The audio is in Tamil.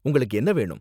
உங்களுக்கு என்ன வேணும்?